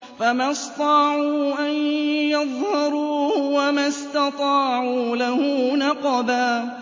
فَمَا اسْطَاعُوا أَن يَظْهَرُوهُ وَمَا اسْتَطَاعُوا لَهُ نَقْبًا